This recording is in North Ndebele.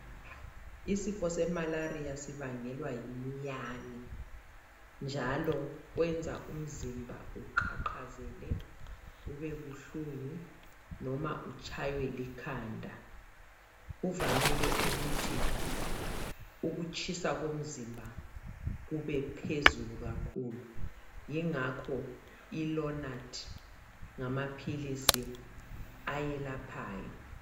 Isifo semalaria sibangelwa yimiyane njalo kwenza umzimba uqhaqhazele ubebuhlungu noma utshaywe likhanda. Uvamile ukuthi ukutshisa komzimba kubephezulu kakhulu ingakho ilonadi ngamaphilisi ayelaphayo.